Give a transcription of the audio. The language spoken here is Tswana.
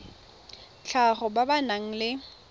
tlhago ba ba nang le